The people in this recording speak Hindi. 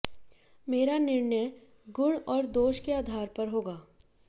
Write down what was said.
मेरा निर्णय गुण और दोष के आधार पर होगा